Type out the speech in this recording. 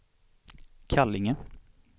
Kallinge